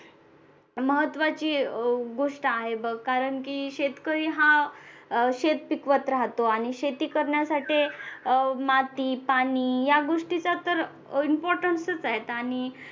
महत्वाची गोष्ट आहे बघ कारण की शेतकरी हा अह शेत पिकवत राहतो आणि शेती करण्यासाठी अह माती पाणी या गोष्टीचा तर importance च आहेत